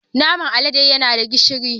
Naman alade yana da gishiri